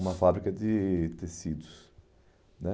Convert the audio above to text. Uma fábrica de tecidos, né?